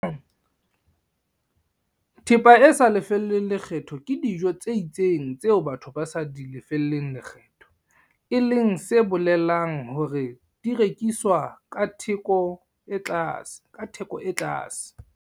Thepa e sa lefellweng lekgetho ke dijo tse itseng tseo batho ba sa di lefelleng lekgetho, e leng se bolelang hore di rekiswa ka theko e tlase.